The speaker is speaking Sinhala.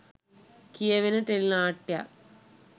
කියවෙන ටෙලි නාට්‍යයක්.